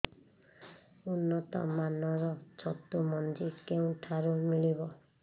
ଉନ୍ନତ ମାନର ଛତୁ ମଞ୍ଜି କେଉଁ ଠାରୁ ମିଳିବ